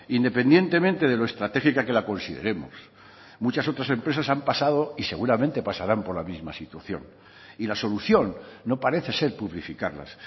independientemente de lo estratégica que la consideremos muchas otras empresas han pasado y seguramente pasarán por la misma situación y la solución no parece ser publificarlas